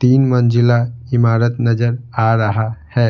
तीन मंजिला इमारत नजर आ रहा है